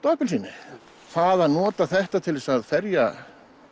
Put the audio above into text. og appelsíni það að nota þetta til að ferja